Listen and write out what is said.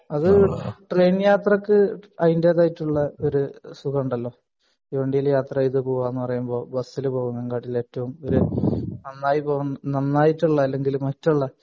അത് ട്രെയിൻ യാത്രക് അതിന്റേതായിട്ടുള്ള ഒരു സുഖം ഉണ്ടല്ലോ തീവണ്ടീൽ യാത്ര ചെയ്ത് പോവാന്ന് പറയുമ്പോ ബസിൽ പോകുന്നതിനെക്കാളൂം ഏറ്റവും ഒരു നന്നായി പോകുന്ന നന്നായിട്ടുള്ള അല്ലെങ്കിൽ മറ്റുള്ള